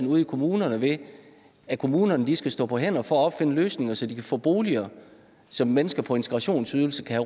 ude i kommunerne ved at kommunerne skal stå på hænder for at opfinde løsninger så de kan få boliger som mennesker på integrationsydelse kan